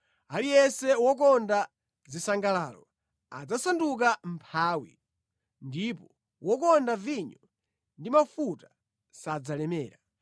Aliyense wokonda zisangalalo adzasanduka mʼmphawi, ndipo wokonda vinyo ndi mafuta sadzalemera.